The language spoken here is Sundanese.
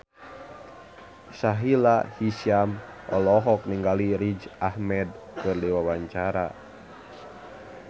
Sahila Hisyam olohok ningali Riz Ahmed keur diwawancara